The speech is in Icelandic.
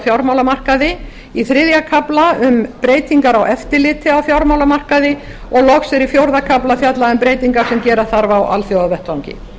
fjármálamarkaði í þriðja kafla um breytingar á eftirliti á fjármálamarkaði og loks er í fjórða kafla fjallað um breytingar sem gera þarf á alþjóðavettvangi